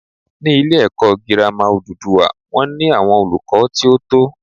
Ní ilé èkó girama odùduwà wón ní àwon olùkó tí ó tó